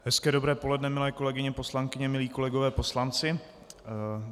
Hezké dobré poledne, milé kolegyně poslankyně, milí kolegové poslanci.